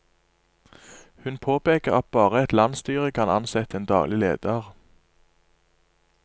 Hun påpeker at bare et landsstyre kan ansette en daglig leder.